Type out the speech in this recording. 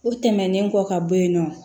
O tɛmɛnen kɔ ka bɔ yen nɔ